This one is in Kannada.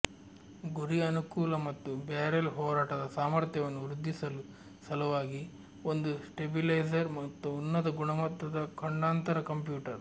ಗುರಿ ಅನುಕೂಲ ಮತ್ತು ಬ್ಯಾರೆಲ್ ಹೋರಾಟದ ಸಾಮರ್ಥ್ಯವನ್ನು ವೃದ್ಧಿಸಲು ಸಲುವಾಗಿ ಒಂದು ಸ್ಟೇಬಿಲೈಸರ್ ಮತ್ತು ಉನ್ನತ ಗುಣಮಟ್ಟದ ಖಂಡಾಂತರ ಕಂಪ್ಯೂಟರ್